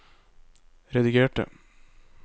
redigerte